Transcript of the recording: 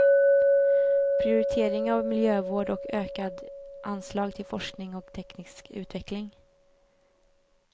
Prioritering av miljövård och ökade anslag till forskning och teknisk utveckling.